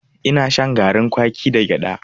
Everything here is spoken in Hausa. Ina shan garin kwaki da gyada.